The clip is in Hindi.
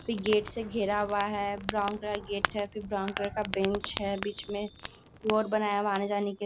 गेट से घेरा हुआ है ब्राउन कलर का गेट फिर ब्राउन कलर का बेंच है बीच में रोड बनाया हुआ है आने-जाने के लिए।